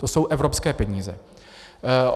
To jsou evropské peníze.